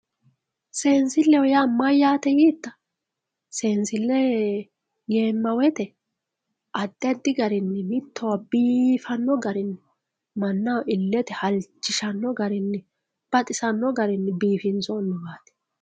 seensilleho yaa mayyaate yiitta seensille yeemma woyiite addi addi garinni mittowa biifanno garinni mannaho illete halchishanno garinni baxisanno garinni biifinsoonniwaati